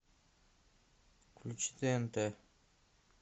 включи тнт